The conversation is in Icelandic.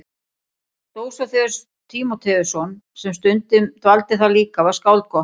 Dósóþeus Tímóteusson sem stundum dvaldi þar líka var skáld gott.